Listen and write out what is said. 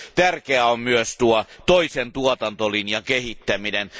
Tärkeää on myös toisen tuotantolinjan kehittäminen.